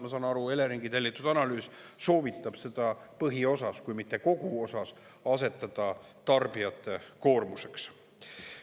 Ma saan aru, Eleringi tellitud analüüs soovitab seda põhiosas, kui mitte kogu osas asetada tarbijate koormuseks.